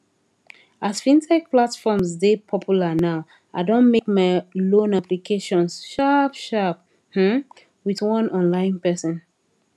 as fintech platforms dey popular now i don make my loan applications sharp sharp um with one online person